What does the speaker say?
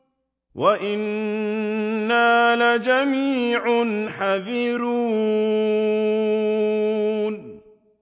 وَإِنَّا لَجَمِيعٌ حَاذِرُونَ